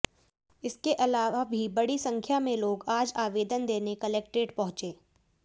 इसके अलावा भी बड़ी संख्या में लोग आज आवेदन देने कलेक्ट्रेट पहुंचे